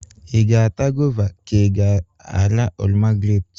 Ị ga-ata goova ka ị ga-ara oroma grep?